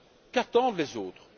Qu'attendent les autres?